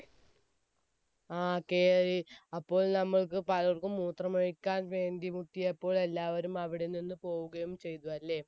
ങ്ഹാ കയറി, അപ്പോൾ നമ്മൾക്ക് പലർക്കും മൂത്രമൊഴിക്കാൻ വേണ്ടി നിർത്തിയപ്പോൾ എല്ലാവരും അവിടെനിന്ന് പോവുകയും ചെയ്തു അല്ലേ?